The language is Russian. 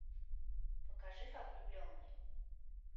покажи как влюбленный